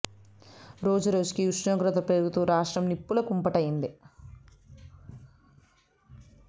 రోజురోజుకీ ఉష్ణోగ్రతలు పెరుగుతూ రాష్ట్రం నిప్పుల కుంప టి అయింది